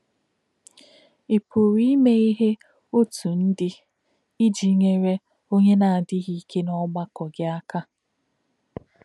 Ị̀ pụ̀rụ́ ímè̄ íhè̄ ọ̀tú̄ndú̄ íjì̄ nyèrè̄ ọ̀nyé̄ nā̄-ádí̄ghí̄ íkè̄ n’ọ̀gbà̄kọ̄ gị̄ ákà̄?